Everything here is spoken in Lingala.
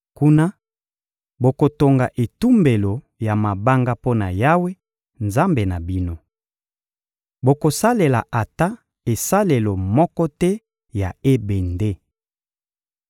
Kuna, bokotonga etumbelo ya mabanga mpo na Yawe, Nzambe na bino. Bokosalela ata esalelo moko te ya ebende.